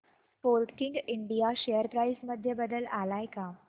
Sportking India share price मध्ये बदल आलाय का